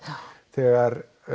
þegar